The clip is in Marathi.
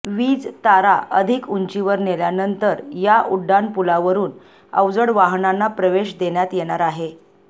वीज तारा अधिक उंचीवर नेल्यानंतर या उड्डाणपुलावरून अवजड वाहनांना प्रवेश देण्यात येणार आहे